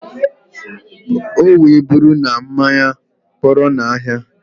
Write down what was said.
O wee buru na mmanya kpọrọ na ahia.